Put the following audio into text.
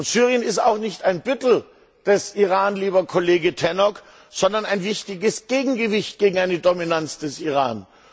Syrien ist auch nicht ein Büttel des Iran, lieber Kollege Tannock, sondern ein wichtiges Gegengewicht gegen eine Dominanz des Iran.